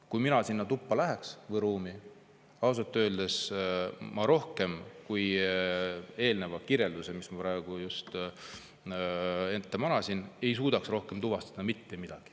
Kui mina sinna ruumi läheks, siis ausalt öeldes ma palju rohkem eelnevast kirjeldusest, mis ma just praegu ette manasin, ei suudaks tuvastada.